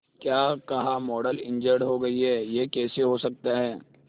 क्या कहा model injured हो गई है यह कैसे हो सकता है